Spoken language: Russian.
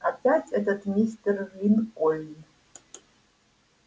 опять этот мистер линкольн